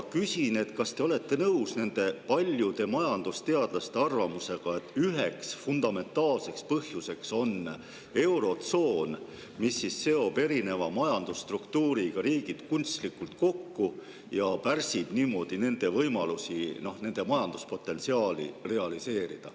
Küsin, kas te olete nõus paljude majandusteadlaste arvamusega, et selle üheks fundamentaalseks põhjuseks on eurotsoon, mis seob erineva majandusstruktuuriga riigid kunstlikult kokku ja pärsib niimoodi nende võimalusi oma majanduspotentsiaali realiseerida.